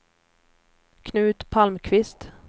Knut Palmqvist